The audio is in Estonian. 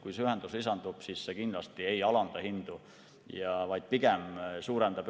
Kui see ühendus lisandub, siis see kindlasti ei alanda hindu, vaid pigem suurendab.